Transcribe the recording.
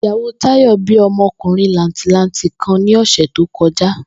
Ìyàwó Táyò̩ bí o̩mo̩kùnrin làǹtìlanti kan ní ò̩sè̩ tó ko̩já